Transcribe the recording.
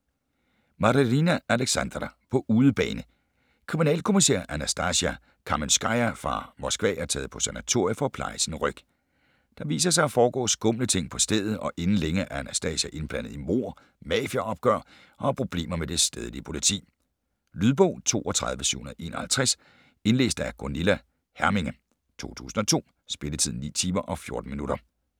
Marinina, Aleksandra: På udebane Kriminalkommissær Anastasia Kamenskaja fra Moskva er taget på sanatorie for at pleje sin ryg. Der viser sig at foregå skumle ting på stedet, og inden længe er Anastasia indblandet i mord, mafiaopgør og har problemer med det stedlige politi. Lydbog 32751 Indlæst af Gunilla Herminge, 2002. Spilletid: 9 timer, 14 minutter.